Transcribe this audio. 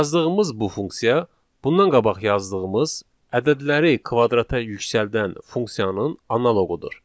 Yazdığımız bu funksiya bundan qabaq yazdığımız ədədləri kvadrata yüksəldən funksiyanın analoqudur.